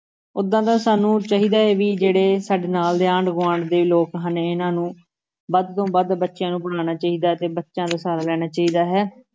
ਓਦਾਂ ਤਾਂ ਸਾਨੂੰ ਚਾਹੀਦਾ ਹੈ ਵੀ ਜਿਹੜੇ ਸਾਡੇ ਨਾਲ ਦੇ ਆਂਢ ਗੁਆਂਢ ਦੇ ਲੋਕ ਹਨ, ਇਹਨਾਂ ਨੂੰ ਵੱਧ ਤੋਂ ਵੱਧ ਬੱਚਿਆਂ ਨੂੂੰ ਪੜ੍ਹਾਉਣਾ ਚਾਹੀਦਾ ਤੇ ਬੱਚਿਆਂ ਦਾ ਸਹਾਰਾ ਲੈਣਾ ਚਾਹੀਦਾ ਹੈ।